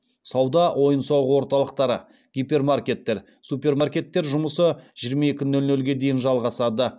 сауда ойын сауық орталықтары гипермаркеттер супермаркеттер жұмысы жиырма екі нөл нөлге дейін жалғасады